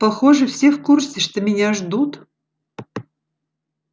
похоже все в курсе что меня ждут